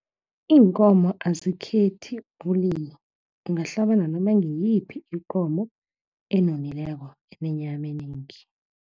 Iinkomo azikhethe ubulili, ungahlaba nanoma ngiyiphi ikomo enonileko, enenyame eningi.